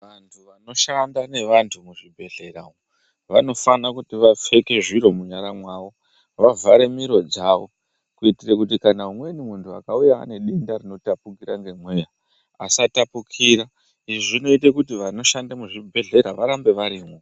Vantu vanoshanda nevantu muzvibhedhlera umu, vanofana kuti vapfeke zviro munyara mavo, vavhare miro dzavo, kuitire kuti kana umweni munhu akauya ane denda rinotapukira ngemweya, asatapukira. Izvi zvinoite kuti vanoshande muzvibhedhleya varambe varimwo.